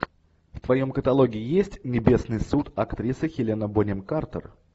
в твоем каталоге есть небесный суд актриса хелена бонем картер